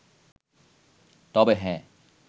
তবে হ্যাঁ